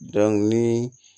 ni